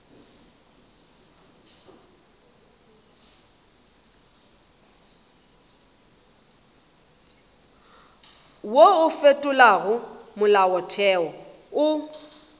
wo o fetolago molaotheo o